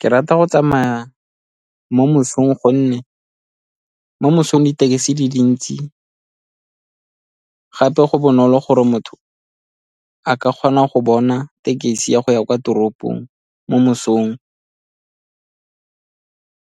Ke rata go tsamaya mo mosong, gonne mo mosong di-taxi di dintsi gape go bonolo gore motho a ka kgona go bona tekesi ya go ya kwa toropong mo mosong